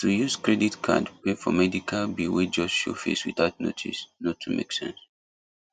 to use credit card pay for medical bill wey just show face without notice no too make sense